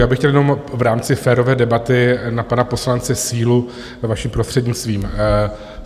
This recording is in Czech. Já bych chtěl jenom v rámci férové debaty na pana poslance Sílu, vaším prostřednictvím.